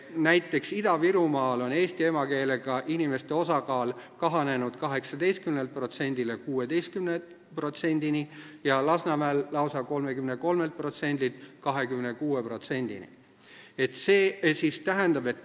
Näiteks, Ida-Virumaal on eesti emakeelega inimeste osakaal kahanenud 18%-st 16%-ni ja Lasnamäel lausa 33%-st 26%-ni.